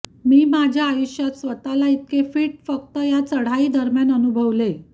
मी माझ्या आयुष्यात स्वतःला इतके फिट फक्त या चढाई दरम्यान अनुभवले